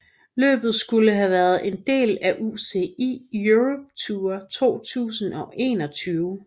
Løbet skulle have været en del af UCI Europe Tour 2021